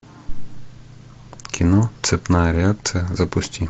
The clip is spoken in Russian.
кино цепная реакция запусти